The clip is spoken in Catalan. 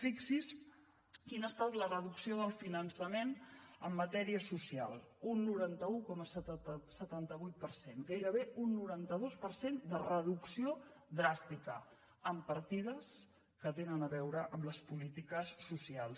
fixi’s quina ha estat la reducció del finançament en matèria social un noranta un coma setanta vuit per cent gairebé un noranta dos per cent de reducció dràstica en partides que tenen a veure amb les polítiques socials